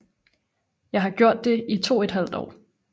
Jeg gjorde det i to et halvt år